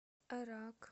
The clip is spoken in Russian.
эрак